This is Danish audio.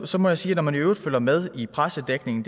så må jeg sige at når man i øvrigt følger med i pressedækning